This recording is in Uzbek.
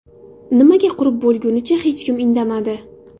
Nimaga qurib bo‘lgunicha hech kim indamadi?